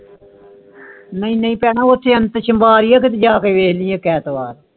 ਨਹੀਂ ਨਹੀਂ ਬਹਿਣਾ ਉਚੇ ਜਾਕੇ ਕੇ ਵੇਖ ਲਈ ਇਕ ਐਤਵਾਰ